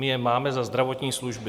My je máme za zdravotní služby.